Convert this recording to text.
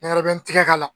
Nɛnɛ bɛ n tigɛ k'a la